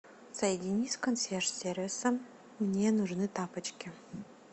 соедини с консьерж сервисом мне нужны тапочки